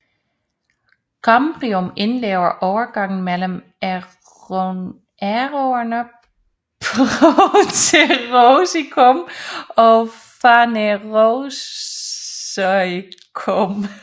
Kambrium indleder overgangen mellem æonerne proterozoikum og phanerozoikum